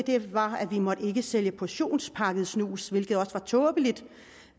var at vi ikke måtte sælge portionspakket snus hvilke også er tåbeligt